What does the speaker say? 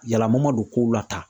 Yalama ma don kow la tan